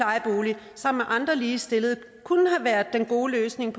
sammen med andre ligestillede kunne have været den gode løsning i